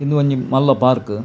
ಒಂದು ಒಂಜಿ ಮಲ್ಲ ಪಾರ್ಕ್